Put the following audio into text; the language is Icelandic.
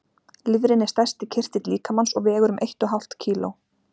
Lifrin er stærsti kirtill líkamans og vegur um eitt og hálft kíló.